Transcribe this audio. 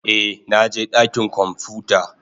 Eh, na je dakin kwamfuta.